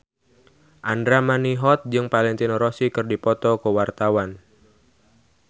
Andra Manihot jeung Valentino Rossi keur dipoto ku wartawan